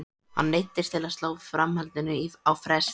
Hann neyddist til að slá framhaldinu á frest.